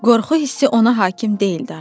Qorxu hissi ona hakim deyildi artıq.